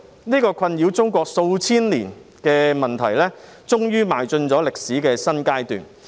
這個困擾中國數千年的問題終於邁進歷史的新階段。